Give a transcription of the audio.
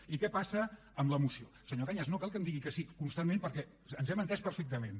i què passa amb la moció senyor cañas no cal que em digui que sí constantment perquè ens hem entès perfectament